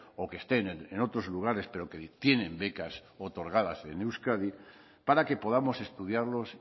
o que estén en otros lugares pero que tienen becas otorgadas en euskadi para que podamos estudiarlos